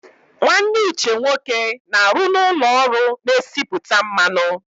Nwanne Uche nwoke na-arụ n'ụlọ ọrụ na-esipụta mmanụ.